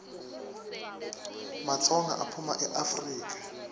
matsonga aphuma eafrika